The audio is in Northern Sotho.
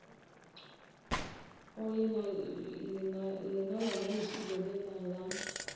le lona lešilo lela ba